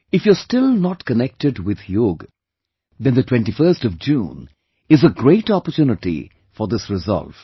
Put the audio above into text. If you are still not connected with yoga, then the 21st of June is a great opportunity for this resolve